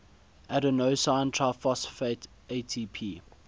adenosine triphosphate atp